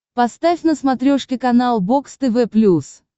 поставь на смотрешке канал бокс тв плюс